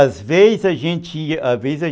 Às vezes a gente ia , às vezes a gente ia